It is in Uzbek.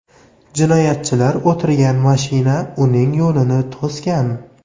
Jinoyatchilar o‘tirgan mashina uning yo‘lini to‘sgan.